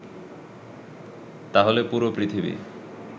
তাহলে পুরো পৃথিবী